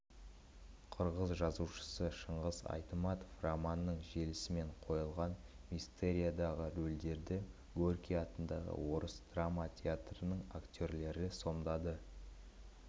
қырғыз жазушысы шыңғыс айтматов романының желісімен қойылған мистериядағы рөлдерді горький атындағы орыс драма театрының актерлері сомдады